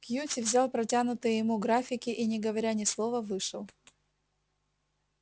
кьюти взял протянутые ему графики и не говоря ни слова вышел